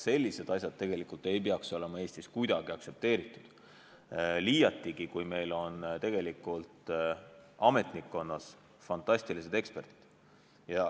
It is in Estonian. Sellised asjad tegelikult ei tohiks olla Eestis kuidagi aktsepteeritud, liiatigi, kui meil on tegelikult ametnikkonnas fantastilised eksperdid.